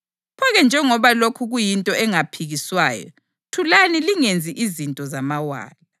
Pho-ke njengoba lokhu kuyinto engaphikiswayo, thulani lingenzi izinto zamawala.